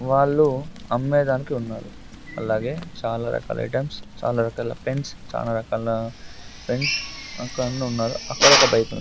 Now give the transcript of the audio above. వాళ్ళు అమ్మాయి దాంట్లో ఉన్నారు అలాగే చాలా రకాల ఐటమ్స్ చాలా రకాల పెన్స్ చాలా రకాల పెన్స్ అక్కడ అంద్ ఉన్నారు అక్కడ ఒక బైక్ .